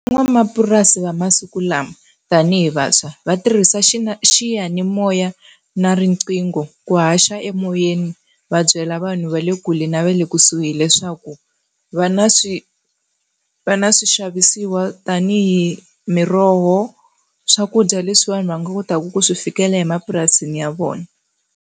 Van'wamapurasi va masiku lama tanihi vantshwa va tirhisa xiyanimoya na riqingho ku haxa emoyeni va byela vanhu va le kule na va le kusuhi leswaku va na va na swixavisiwa tanihi miroho, swakudya leswiwani va nga kotaka ku swi fikela emapurasini ya vona.